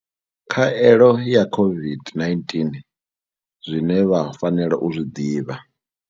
Khaelo ya COVID-19 zwine vha fanela u zwi ḓivha.